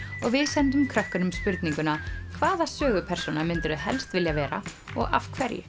og við sendum krökkunum spurninguna hvaða sögupersóna myndirðu helst vilja vera og af hverju